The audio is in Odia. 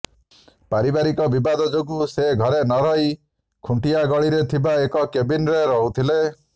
ପାରିବାରିକ ବିବାଦ ଯୋଗୁଁ ସେ ଘରେ ନ ରହି ଖୁଣ୍ଟିଆଗଳିରେ ଥିବା ଗୋଟାଏ କ୍ୟାବିନ୍ରେ ରହୁଥିଲେ